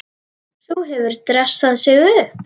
Sú hefur dressað sig upp!